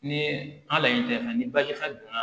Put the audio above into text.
Ni an laɲini tɛ fɛn ni baji fɛn donna